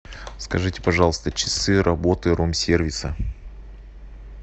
скажите пожалуйста часы работы ром сервиса